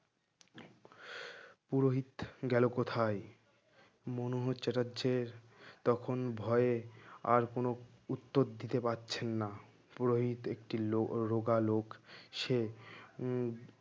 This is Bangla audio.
পুরোহিত গেল কোথায়? মনোহর চ্যাটার্জির তখন ভয়ে আর কোন উত্তর দিতে পারছেন না পুরোহিত একটি লো রোগা লোক সে উম